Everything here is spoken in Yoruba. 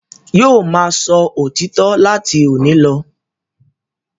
Yóò máa sọ òtítọ́ láti òní lọ.